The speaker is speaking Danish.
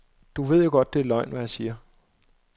Du ved jo godt, det er løgn, hvad jeg siger.